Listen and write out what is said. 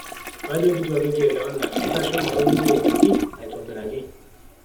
kajo keitu ake kielewana ,ntosho matoliki aitoki aitobiraki